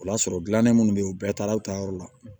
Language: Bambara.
O b'a sɔrɔ dilannen minnu bɛ yen u bɛɛ taara u ta yɔrɔ la